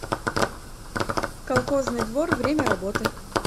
колхозный двор время работы